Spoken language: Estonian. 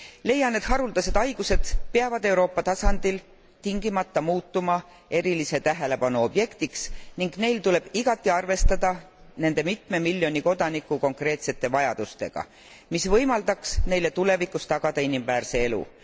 Leian, et haruldased haigused peavad Euroopa tasandil tingimata muutuma erilise tähelepanu objektiks ning meil tuleb igati arvestada nende mitme miljoni kodaniku konkreetsete vajadustega, mis võimaldaks neile tulevikus tagada inimväärse elu.